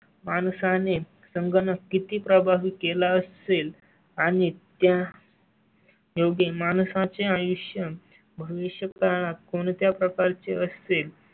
माणसा ने संगणक किती प्रभावी केला असेल आणि त्या. योग्य माणसा चे आयुष्य भविष्यकाळात कोणत्या प्रकारचे असते